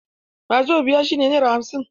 Wazobiya shi ne naira hamsin.